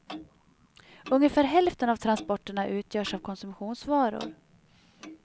Ungefär hälften av transporterna utgörs av konsumtionsvaror.